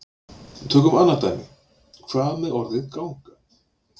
Tökum annað dæmi: Hvað með orðið ganga?